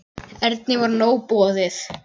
Erni var nóg boðið.